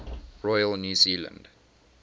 royal new zealand